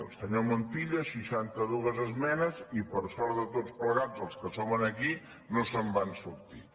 el senyor montilla seixanta dues esmenes i per sort de tots plegats els que som aquí no se’n va sortir